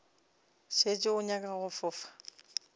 šetše o nyaka go fofa